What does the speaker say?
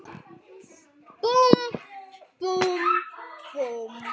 Búmm, búmm, búmm.